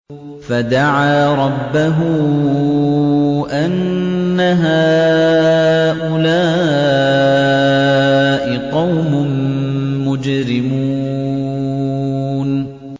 فَدَعَا رَبَّهُ أَنَّ هَٰؤُلَاءِ قَوْمٌ مُّجْرِمُونَ